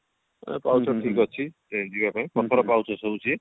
ପାହୁଚ ଠିକ ଅଛି ଜୀବ ପାଇଁ ପଥର ପାହୁଚ ସବୁ ସିଏ